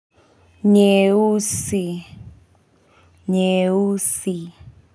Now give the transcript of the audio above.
Nyeusi. Nyeusi.